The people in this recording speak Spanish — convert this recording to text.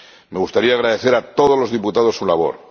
Me gustaría agradecer a todos los diputados su labor.